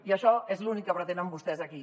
i això és l’únic que pretenen vostès aquí